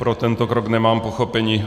Pro tento krok nemám pochopení.